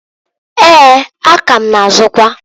Eeǃ A ka ma na -azụkwa.